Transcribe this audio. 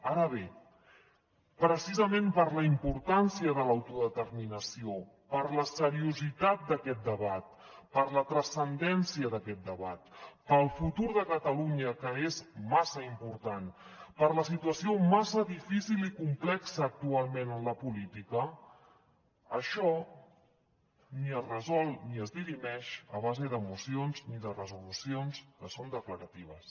ara bé precisament per la importància de l’autodeterminació per la seriositat d’aquest debat per la transcendència d’aquest debat pel futur de catalunya que és massa important per la situació massa difícil i complexa actualment en la política això ni es resol ni es dirimeix a base de mocions ni de resolucions que són declaratives